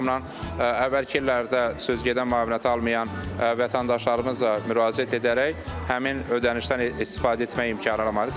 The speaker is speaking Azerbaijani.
O baxımdan əvvəlki illərdə söz gedən müavinəti almayan vətəndaşlarımız da müraciət edərək həmin ödənişdən istifadə etmək imkanına malikdir.